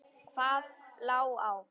Hvað lá á?